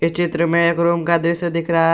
चित्र में एक रूम का दृश्य दिख रहा--